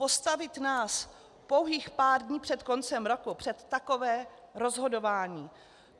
Postavit nás pouhých pár dnů před koncem roku před takové rozhodování.